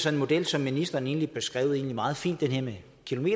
en model som ministeren egentlig beskrev meget fint nemlig